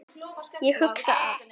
Ég hugsa að